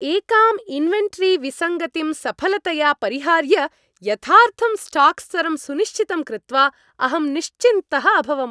एकां इन्वेन्टरीविसङ्गतिं सफलतया परिहार्य, यथार्थं स्टाक् स्तरं सुनिश्चितं कृत्वा अहं निश्चिन्तः अभवम्।